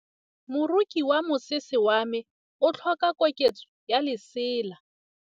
Moroki wa mosese wa me o tlhoka koketsô ya lesela.